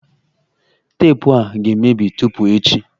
Teepụ a ga-emebi tupu echi